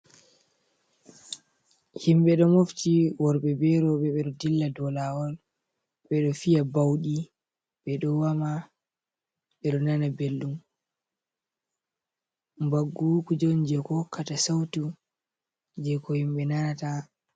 Himɓɓe ɗo mofti worɓɓe be roɓɓe ɓeɗo dilla dou lawol ɓe ɗo fiya ɓauɗi ɓeɗo woma, ɓeɗo nana belɗum, mbaggu kuje on je ko hokkata sautu, je ko himɓɓe nanata.